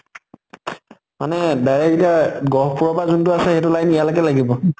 মানে direct এতিয়া গহ্পুৰৰ পৰা যোন টো আছে, সেইটো line ইয়ালৈকে লাগিব?